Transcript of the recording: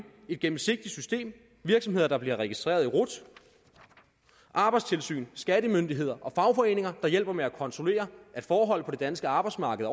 et gennemsigtigt system virksomheder der bliver registreret i rut arbejdstilsyn skattemyndighed og fagforeninger der hjælper med at kontrollere at forhold på det danske arbejdsmarked